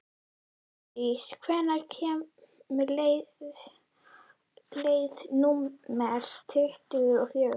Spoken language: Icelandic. París, hvenær kemur leið númer tuttugu og fjögur?